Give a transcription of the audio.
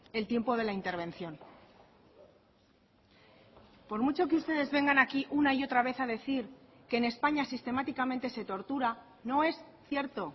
el tiempo de la intervención por mucho que ustedes vengan aquí una y otra vez a decir que en españa sistemáticamente se tortura no es cierto